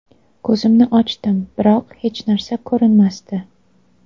Ko‘zimni ochdim, biroq hech narsa ko‘rinmasdi.